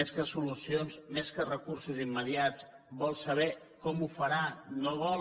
més que solucions més que recursos immediats vol saber com ho farà no vol